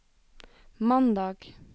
mandag